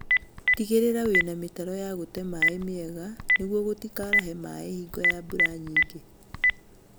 Tigĩrĩra wĩna mĩtaro ya gũte maĩĩ mĩega nĩguo gũtikaarahe maĩĩ hingo ya mbura nyingĩ